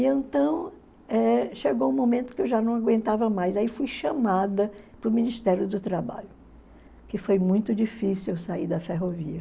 E então eh chegou um momento que eu já não aguentava mais, aí fui chamada para o Ministério do Trabalho, que foi muito difícil eu sair da ferrovia.